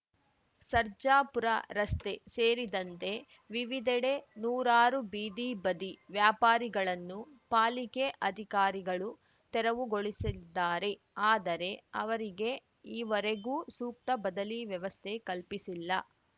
ಸರ್ಜಾಪುರ ರಸ್ತೆ ಸೇರಿದಂತೆ ವಿವಿಧೆಡೆ ನೂರಾರು ಬೀದಿ ಬದಿ ವ್ಯಾಪಾರಿಗಳನ್ನು ಪಾಲಿಕೆ ಅಧಿಕಾರಿಗಳು ತೆರವುಗೊಳಿಸಿದ್ದಾರೆ ಆದರೆ ಅವರಿಗೆ ಈವರೆಗೂ ಸೂಕ್ತ ಬದಲಿ ವ್ಯವಸ್ಥೆ ಕಲ್ಪಿಸಿಲ್ಲ